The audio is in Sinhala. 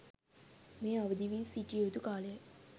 මේ අවදිවී සිටිය යුතු කාලයයි.